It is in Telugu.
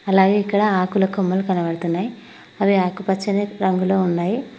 అలాగే ఇక్కడ ఆకుల కొమ్మలు కనబడుతున్నాయి అవి ఆకుపచ్చని రంగులో ఉన్నాయి.